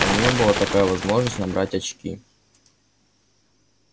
у нее была такая возможность набрать очки